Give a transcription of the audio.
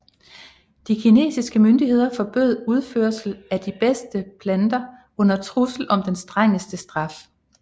De kinesiske myndigheder forbød udførsel af de bedste planter under trussel om de strengeste straffe